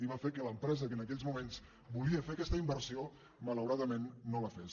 i va fer que l’empresa que en aquells moments volia fer aquesta inversió malaura·dament no la fes